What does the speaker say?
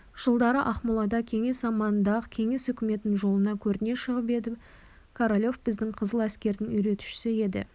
жылдары ақмолада кеңес заманында-ақ кеңес үкіметінің жолына көріне шығып еді королев біздің қызыл әскердің үйретушісі еді